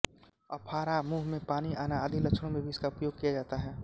अफारा मुंह में पानी आना आदि लक्षणों में भी इसका उपयोग किया जाता है